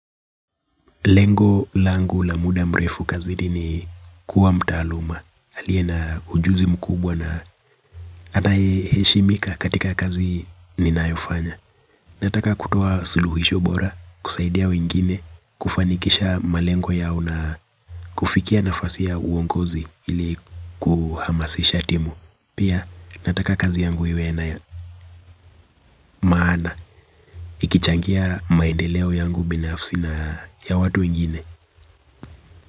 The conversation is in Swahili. Lengo langu la muda mrefu kazi ni kuwa mtaaluma. Aliye na ujuzi mkubwa na anayeheshimika katika kazi ninayofanya. Nataka kutoa suluhisho bora, kusaidia wengine, kufanikisha malengo yao na kufikia nafasi ya uongozi ili kuhamasisha timu. Pia nataka kazi yangu iwe na maana ikichangia maendeleo yangu binafsi na ya watu wengine.